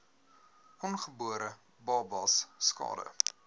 ongebore babas skade